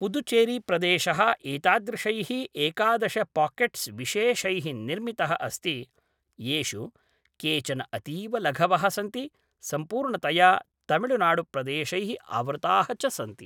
पुदुचेरीप्रदेशः एतादृशैः एकादश पाकेट्स् विशेषैः निर्मितः अस्ति, येषु केचन अतीवलघवः सन्ति सम्पूर्णतया तमिळुनाडुप्रदेशैः आवृताः च सन्ति।